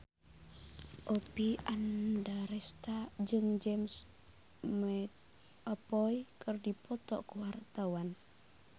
Oppie Andaresta jeung James McAvoy keur dipoto ku wartawan